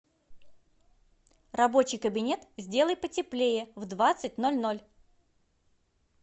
рабочий кабинет сделай потеплее в двадцать ноль ноль